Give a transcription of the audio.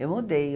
Eu mudei.